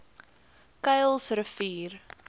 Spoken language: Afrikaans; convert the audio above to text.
kuilsrivier